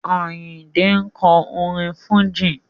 Àyìndé ń kọ orin Fújì.